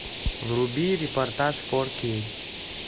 вруби репортаж фор кей